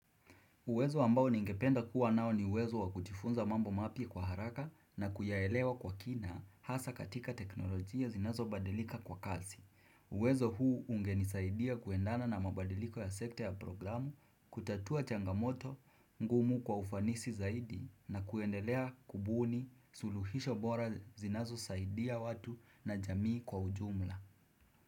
Uwezo ambao ningependa kuwa nao ni uwezo wakujifunza mambo mapya kwa haraka na kuyaelewa kwa kina hasa katika teknolojia zinazo badilika kwa kazi. Uwezo huu ungenisaidia kuendana na mabadiliko ya sekta ya programu, kutatua changamoto, ngumu kwa ufanisi zaidi na kuendelea kubuni suluhisho bora zinazo saidia watu na jamii kwa ujumla.